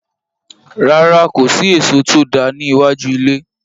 Rárá, kò sí èso tó dáa ní iwájú ilé.